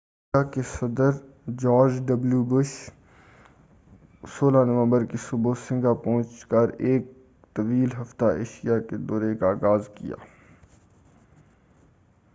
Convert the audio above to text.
امریکہ کے صدر George W Bush 16 نومبر کی صبح سنگاپور پہنچ کر ایک ہفتہ طویل ایشیاء کے دورے کا آغاز کیا